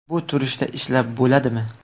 Bu turishda ishlab bo‘ladimi.